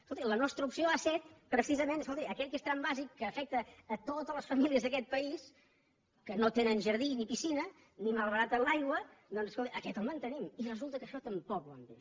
escolti la nostra opció ha set precisament escolti aquell que és tram bàsic que afecta totes les famílies d’aquest país que no tenen jardí ni piscina ni malbaraten l’aigua doncs escolti aquest el mantenim i resulta que això tampoc ho han vist